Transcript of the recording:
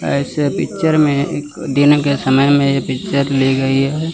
ऐसे पिक्चर में एक दिन के समय में पिक्चर ली गई है।